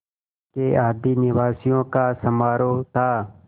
के आदिनिवासियों का समारोह था